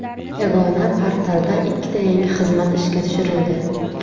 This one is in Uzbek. Yagona portalda ikkita yangi xizmat ishga tushirildi.